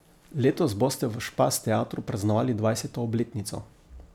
Letos boste v Špas teatru praznovali dvajseto obletnico.